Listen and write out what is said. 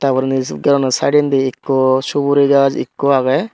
ter porandi se gari aano sidonne ikko suguri gaj ikko agey.